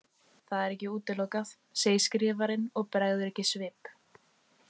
Það er ekki útilokað, segir skrifarinn og bregður ekki svip.